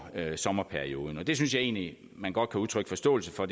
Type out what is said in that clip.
sommerperioden og det synspunkt synes jeg egentlig man godt kan udtrykke forståelse for